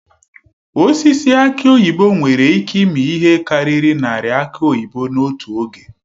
Osisi aki oyibo nwere ịke ịmi ihe karịrị narị aki oyibo n'otu oge.